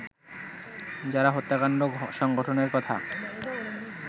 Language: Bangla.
যারা হত্যাকাণ্ড সংঘটনের কথা